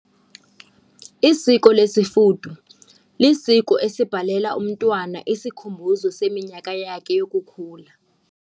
Isiko lesifudu lisiko esibhalela umntwana isikhumbuzo seminyaka yakhe yokukhula.